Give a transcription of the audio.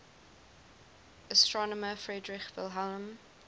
astronomer friedrich wilhelm